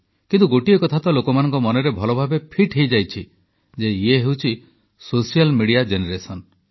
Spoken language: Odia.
କିନ୍ତୁ ଗୋଟିଏ କଥା ତ ଲୋକମାନଙ୍କ ମନରେ ଭଲ ଭାବେ ଫିଟ୍ ହୋଇଯାଇଛି ଯେ ଇଏ ହେଉଛି ସୋସିଆଲ୍ ମିଡିଆ ଜେନେରେସନ୍